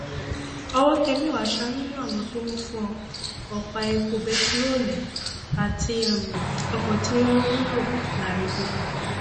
ọwọ́ tẹ mẹwàá um nínú àwọn tó ń fọ ọpá epo bẹntiróòlù àti um ọkọ tí wọn ń lò larépo